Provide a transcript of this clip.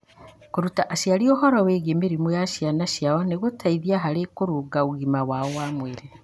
Kũruta aciari ũhoro wĩgiĩ mĩrimũ ya ciana ciao nĩ gũteithagia harĩ kũrũnga ũgima wao wa mwĩrĩ.